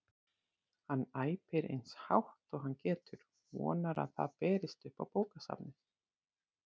Hann æpir eins hátt og hann getur, vonar að það berist upp á bókasafnið.